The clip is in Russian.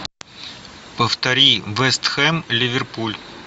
повтори вест хэм ливерпуль